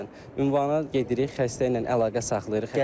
Məsələn, ünvana gedirik, xəstə ilə əlaqə saxlayırıq.